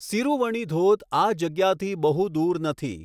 સિરુવણી ધોધ આ જગ્યાથી બહુ દૂર નથી.